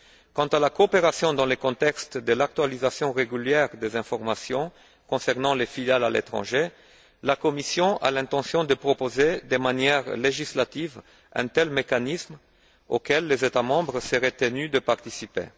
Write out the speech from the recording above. Quant à la coopération dans le contexte de l'actualisation régulière des informations concernant les filiales à l'étranger, la Commission a l'intention de proposer de manière législative un tel mécanisme, auquel les États membres seraient tenus de participer.